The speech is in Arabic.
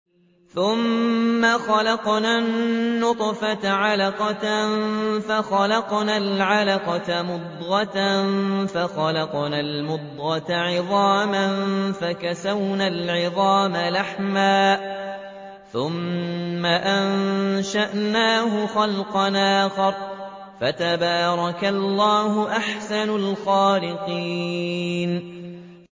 ثُمَّ خَلَقْنَا النُّطْفَةَ عَلَقَةً فَخَلَقْنَا الْعَلَقَةَ مُضْغَةً فَخَلَقْنَا الْمُضْغَةَ عِظَامًا فَكَسَوْنَا الْعِظَامَ لَحْمًا ثُمَّ أَنشَأْنَاهُ خَلْقًا آخَرَ ۚ فَتَبَارَكَ اللَّهُ أَحْسَنُ الْخَالِقِينَ